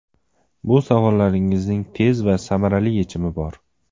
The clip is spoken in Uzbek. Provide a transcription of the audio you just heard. Bu savollaringizning tez va samarali yechimi bor.